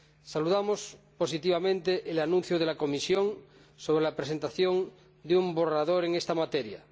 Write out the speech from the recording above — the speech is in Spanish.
Saludamos positivamente el anuncio de la Comisión sobre la presentación de un borrador en esta materia.